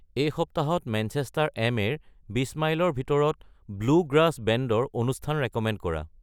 এই সপ্তাহত মেঞ্চেষ্টাৰ এম.এ-ৰ বিচ মাইলৰ ভিতৰত ব্লু গ্ৰাছ বেণ্ডৰ অনুষ্ঠান ৰেক'মেণ্ড কৰা